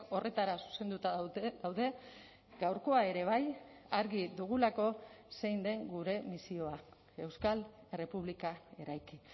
horretara zuzenduta daude gaurkoa ere bai argi dugulako zein den gure misioa euskal errepublika eraiki